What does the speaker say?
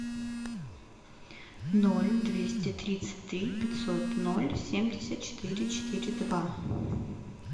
ноль двести тридцать три пятьсот ноль семьдесят четыре четыре два